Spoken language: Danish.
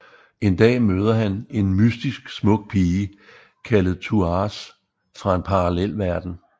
En dag møder han en mystisk smuk pige kaldet Thouars fra en parallelverden